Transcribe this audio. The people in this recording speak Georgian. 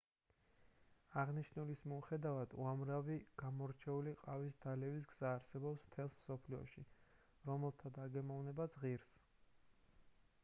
აღნიშნულის მიუხედავად უამრავი გამორჩეული ყავის დალევის გზა არსებობს მთელს მსოფლიოში რომელთა დაგემოვნებაც ღირს